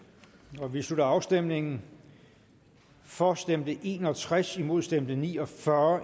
nu vi slutter afstemningen for stemte en og tres imod stemte ni og fyrre